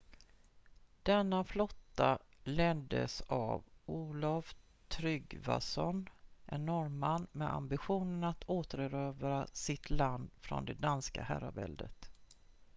denna flotta leddes av olaf trygvasson en norrman med ambitionen att återerövra sitt land från det danska herraväldet